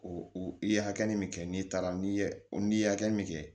O i ye hakɛ min kɛ n'i taara n'i ye n'i ye hakɛ min kɛ